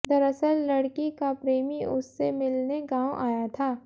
दरअसल लड़की का प्रेमी उससे मिलने गांव आया था